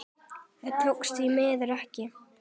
Það tókst því miður ekki.